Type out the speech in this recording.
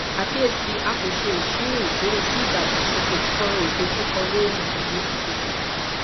akiyesi a ko ṣe iṣiro ikore si idagbasoke kan idojukọ lori iye akoko